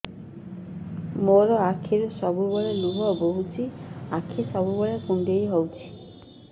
ମୋର ଆଖିରୁ ସବୁବେଳେ ଲୁହ ବୋହୁଛି ଆଖି ସବୁବେଳେ କୁଣ୍ଡେଇ ହଉଚି